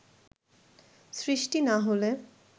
সৃষ্টি না হলে